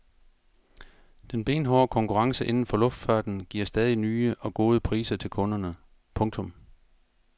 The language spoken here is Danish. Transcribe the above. Den benhårde konkurrence inden for luftfarten giver stadig nye og gode priser til kunderne. punktum